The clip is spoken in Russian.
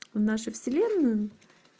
в нашу вселенную